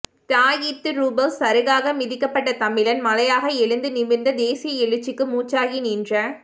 தியாகித்துரூபவ் சருகாக மிதிபட்ட தமிழன் மலையாக எழுந்து நிமிர்ந்த தேசிய எழுச்சிக்கு மூச்சாகி நின்ற